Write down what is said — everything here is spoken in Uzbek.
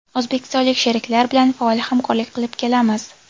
O‘zbekistonlik sheriklar bilan faol hamkorlik qilib kelamiz.